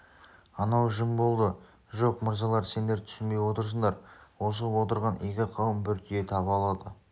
анау жым болды жоқ мырзалар сендер түсінбей отырсыңдар осы отырған игі қауым бір түйе таба алады